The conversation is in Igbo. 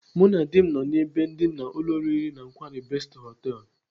Mụ na dị m nọ n'ebe ndina ụlọ oriri na nkwari Best Hotels.